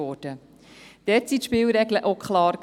Dort waren die Spielregeln auch klar.